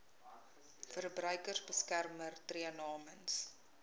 verbruikersbeskermer tree namens